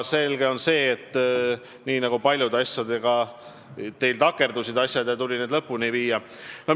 Selge on see, et teil paljud asjad takerdusid ja meil tuli need lõpuni viia.